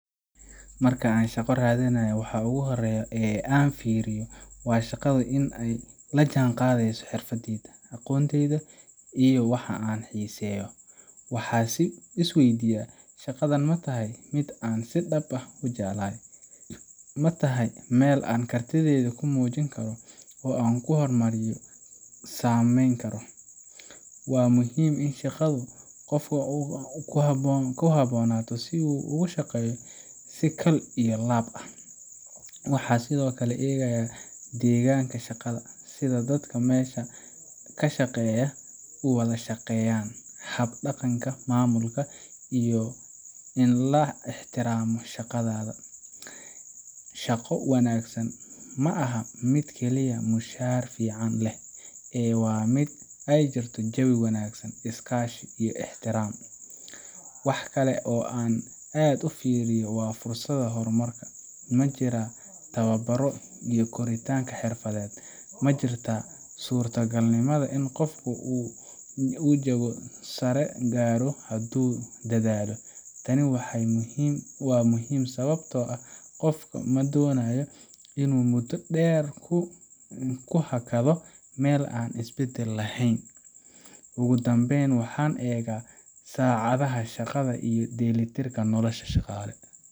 Marka aan shaqo raadinayo, waxa ugu horreeya ee aan fiiriyo waa in shaqadu ay la jaanqaadayso xirfadayda, aqoontayda iyo waxa aan xiiseeyo. Waxaan is waydiiyaa, Shaqadan ma tahay mid aan si dhab ah u jeclahay? Ma tahay meel aan kartidayda ku muujin karo oo aan horumar ka samayn karo? Waa muhiim in shaqadu qofka ku habboonaato si uu ugu shaqeeyo si kal iyo laab ah. Waxaan sidoo kale eegaa deegaanka shaqada, sida dadka meesha ka shaqeeya u wada shaqeeyaan, hab dhaqanka maamulka, iyo in la ixtiraamo shaqadaada. Shaqo wanaagsan ma aha mid kaliya mushahar fiican leh, ee waa mid ay jirto jawi wanaagsan, iskaashi, iyo ixtiraam. Wax kale oo aan aad u fiiriyo waa fursadaha horumarka. Ma jiraan tababaro iyo koritaan xirfadeed? Ma jirtaa suurtogalnimada in qofku uu jago sare gaaro hadduu dadaalo? Tani waa muhiim sababtoo ah qofku ma doonayo inuu muddo dheer ku hakado meel aan is beddel lahayn. Ugu dambeyn, waxaan eegaa saacadaha shaqada iyo dheellitirka nolosha shaqaale.